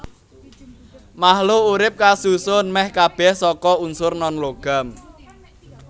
Makhluk urip kasusun mèh kabèh saka unsur nonlogam